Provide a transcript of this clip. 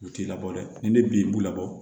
U t'i labɔ dɛ ni ne bin b'u labɔ